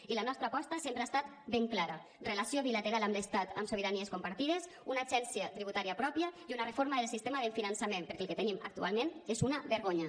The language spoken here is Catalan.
i la nostra aposta sempre ha estat ben clara relació bilateral amb l’estat amb sobiranies compartides una agència tributària pròpia i una reforma del sistema de finançament perquè el que tenim actualment és una vergonya